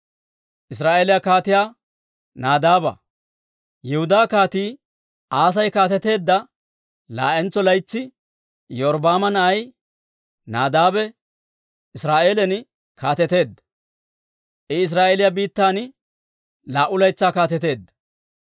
Yihudaa Kaatii Aasi kaateteedda laa'entso laytsi Iyorbbaama na'ay Nadaabe Israa'eelan kaateteedda; I Israa'eeliyaa biittan laa"u laytsaa kaateteedda.